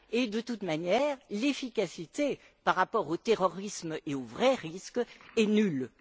Et, de toute manière, l'efficacité, par rapport au terrorisme et aux vrais risques est nulle.